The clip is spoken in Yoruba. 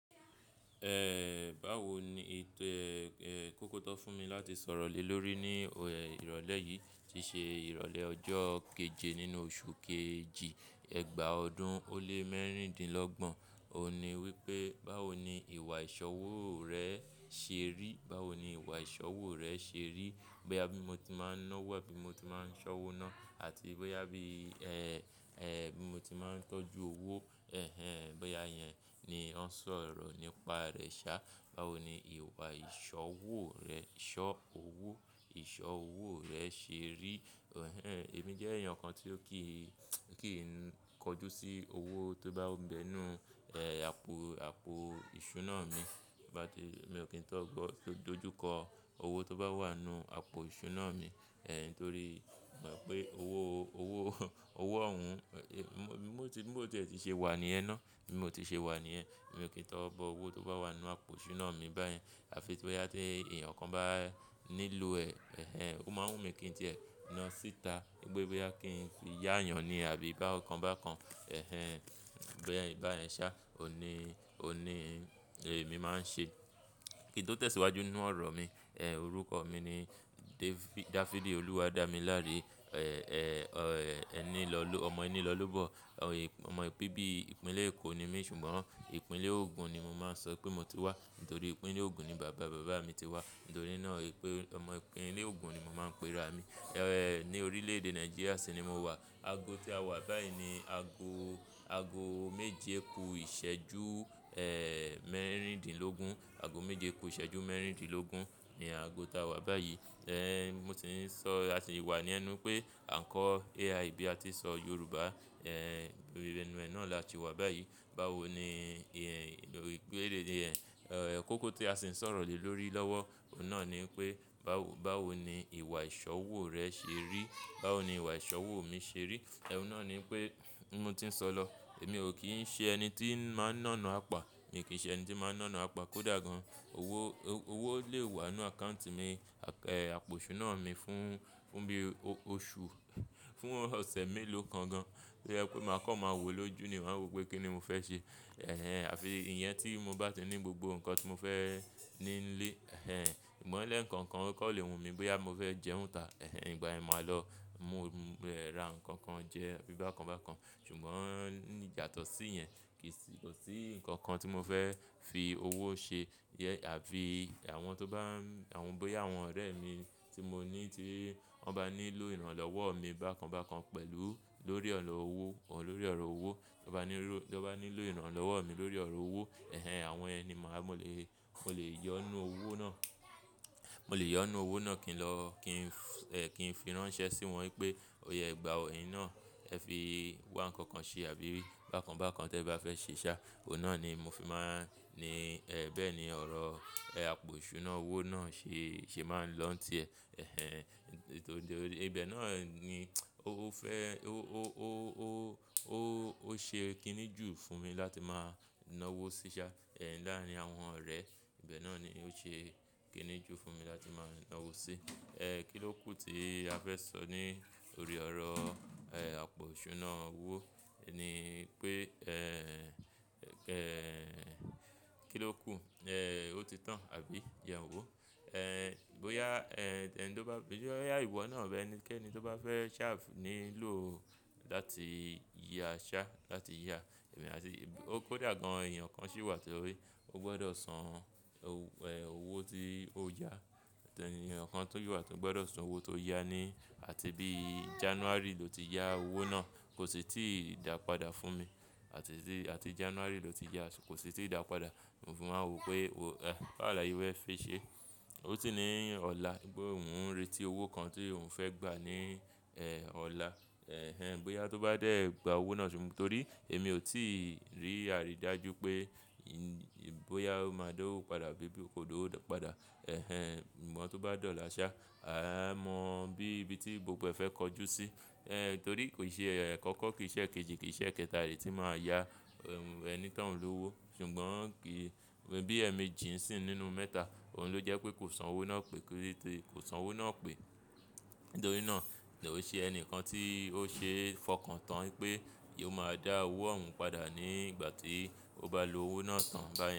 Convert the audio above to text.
Ẹ báwo ni ètò e, ẹ, kókó tó fún mi láti sọ̀rọ̀ lè lórí ní ìrọ̀lẹ́ yìí tí ṣe ìrọ̀lẹ́ ọjọ́ keje nínú oṣù kejì, ẹgbàá ọdún ó lé mẹ́rìndínlọ́gbọ̀n. Ó ní wípé, báwo ni ìwà iṣowo rẹ ṣe rí? Báwo ni ìwà ìṣọwọ́ rẹ ṣe rí? Bóyá bi mo ti máa ń ná wò, abí mo ti máa ń ṣọwọ́ ná àti bóyá bí, ẹ, ẹ, bí mo ti máa ń tọ́jú owó. Ẹ̀hẹn, bóyá yẹn ni wọn ń sọ̀rọ̀ nípa rẹ̀ sá. Báwo ni ìwà ìṣọwo rẹ, ìṣọ́ owó, ìṣọwo rẹ ṣe rí? Ẹ̀hẹn, èmi jẹ́ èèyàn kan tí ó kì í, kì í kọjú sí owó tó bá bẹnu, ẹ, àpò, àpò ìṣúná mi. Bá ti, mi ò kí n tọ́ gọ, dojú kọ owó tó bá wà nínú àpò ìṣúná mi. Ẹ̀hẹn, torí mo mọ̀ pé owó, owó, owó ọ̀hún, bí mó tí, bí mó ti ṣe wà ní ẹ ná, bí mo ti ṣe wà ní ẹ. Èmi ò kí n tọ́ bọ owó tó bá wà nínú àpò ìṣúná mi báyẹn. Àfi tí bóyá tí èèyàn kan bá nílò ẹ. Ẹ̀hẹn, ó máa ń wù mí kí n tiẹ́ ẹ ná síta. Pé bóyá kí n fi yá èèyàn ni àbí bá kan bá kan. Ẹ̀hẹn, báyẹn, báyẹn sá. Ó ní, ó ní èmi máa ń ṣe. Kín tó tẹ̀síwájú nínú ọ̀rọ̀ mi? Ẹ̀hẹn, orúkọ mi ni Dáfídì Olúwadámiláre. Ẹ̀hẹn, ẹ, ẹní lọ́, ọmọ ẹní lọ́ lobọ́. Ọ̀hẹn, ọmọ bí bí ìpínlẹ̀ Èkó ni mí ṣùgbọ́n ìpínlẹ̀ Ogun ni mo máa ń sọ pé mo ti wá. Nítorí ìpínlẹ̀ Ogun ni bàbá bàbá mi ti wá. Nítorí náà pé ọmọ ìpínlẹ̀ Ogun ni mo máa ń pe ra mi. Ẹ̀hẹn, ní orílẹ̀ èdè Nàìjíríà sì ni mo wà. Ago tí a wà báyìí ni ago, ago méje kú ìṣẹ́jú, ẹ, mẹ́rìndínlógún. Ago méje kú ìṣẹ́jú mẹ́rìndínlógún ni ago ta wà báyìí. Ẹ̀hẹn, mo sì ń sọ, a sì wà ní ẹnu pé àńkọ̀ AI bí a ti ń sọ Yorùbá. Ẹ̀hẹn, ibi ẹnu ẹ náà la ṣì wà báyìí. Báwo ni ìyẹn, orí pele re. Ẹ̀hẹn, kókó tí a sì ń sọ̀rọ̀ lè lórí lọ́wọ́. Òun náà ni pé báwo, báwo ni ìwà ìṣọwọ́ rẹ ṣe rí? Báwo ni ìwà ìṣọwọ́ mi ṣe rí? Òun náà ni pé bi mo ti ń sọ lọ. Èmi ò kí ń ṣe ẹni tí máa ń náná àpá. Èmi kì í ṣe ẹni tí máa ń náná àpá kó dà gan. Owó, owó lè wà nínú àkáùntì mi. Àpò, àpò ìṣúná mi fún, fún bí oṣù, fún ọ̀sẹ̀ mélòó kan gan. To jẹ pé máa kàn máa wò lójú ni máa wò pé kí ni mo fẹ́ ṣe. Ẹ̀hẹn, àfi ìyẹn tí mo bá ti ní gbogbo nǹkan tí mo fẹ́ ní nílé. Ẹ̀hẹn, ṣùgbọ́n lẹ̀ nǹkan kan o kan lè wùmí bóyá mo fẹ́ jẹun ta. Ẹ̀hẹn, ìgbà yẹn máa lọ mú, ra nǹkan kan jẹ bí bá kan bá kan. Ṣùgbọ́n yàtọ̀sí yẹn kì í sì, kò sí nǹkan kan tí mo fẹ́ fi owó ṣe. Yẹ, àfí àwọn tó bá n, àwọn bóyá àwọn ọ̀rẹ́ mi tí mo ní tí wọ́n bá nílò ìrànlọ́wọ́ mi bá kan bá kan pẹ̀lú lórí ọ̀rọ̀ owó, lórí ọ̀rọ̀ owó. Tọ́n bá nílò, tọ́n bá nílò ìrànlọ́wọ́ mi lórí ọ̀rọ̀ owó. Ẹ̀hẹn, àwọn iyen ni máa, mo lè, mo lè yọ ọ́ nínú owó náà. Mo lè yọ ọ́ nínú owó náà kí n lọ, kí n, ẹ, kí n fi rán iṣẹ́ sí wọn wípé ó ya gbà ẹyìn náà ẹ fi wá nǹkan kan ṣe àbí bá kan bá kan tí ẹ̀ bá fẹ́ ṣe sá. Òun náà ni mo fi máa ń ní, ẹ, bẹ́ẹ̀ ni ọ̀rọ̀ àpò ìṣúná owó náà ṣe, ṣe máa ń lọ́ńtì ẹ̀. Ẹ̀hẹn, nítorí ibẹ̀ náà ni ó fẹ́, ó, ó, ó, ó, ó, ó ṣe kínní ju fún mi láti máa ná owó sí i ṣá. Ẹ̀hẹn, láàárín àwọn ọ̀rẹ́, ibẹ̀ náà ni ó ṣe kínní jú fún mi láti máa ná owó sí i. Ẹ̀hẹn, kì ló kù tí a fẹ́ sọ ní orí ọ̀rọ̀, ẹ, àpò ìṣúná owó ni pé, ẹ, ẹ, kí ló kù, ẹ, ó ti tán àbí jẹ n wò. Ẹ̀hẹn, bóyá, ẹ, ẹni tó bá, bóyá ìwọ náà abi ẹni kí ẹni tó bá fẹ́ ṣà nílò láti yà ṣá, láti yà. Emi à tí, kó dà gan èèyàn kan sì wà tí ó rí. Ó gbọdọ̀ san owó tí ó yá. Èèyàn kan tó ṣi wà tí ó gbọdọ̀ san owó tó yá ní. Àti bí Jánúarì ló ti yá owó náà kò sì ti dà pada fún mi. Àti tí, àti Jánúarì ló ti yá kò sì ti dà pada. Mo fin maa wò pé wó bawo làṣè fẹ́ẹ́ fi ṣe. Ó sì ní ọ̀la un pe òun retí owó kan tí òun fẹ́ gbà ní, ẹ, ọ̀la. Ẹ̀hẹn, bóyá tó bá dẹ̀ gba owó náà ṣùgbọ́n torí èmi ò tí rí àrídájú pé bóyá ó máa dawó padà bí bí kò dawó pada. Ẹ̀hẹn, ṣùgbọ́n tí ó bá dọ̀la ṣá, a mọ bí ibi tí gbogbo ẹ fẹ́ kojú sí. Ẹ̀hẹn, torí kò ṣe àkọkọ kì í ṣe kejì kì í ṣe kẹ́tàlẹ̀ tí máa yá ẹni tó ń lòwó. Ṣùgbọ́n kí, bí ẹmejì n sì nínú mẹ́ta òun ló jẹ́ pé kò san owó náà pé, kò san owó náà pé. Nítorí náà ni òun ṣe ẹni kan tí ó ṣe fọkàn tán pé yóò máa dá owó ọ̀hún padà ní ìgbà tí ó bá lo owó náà tán báyẹn.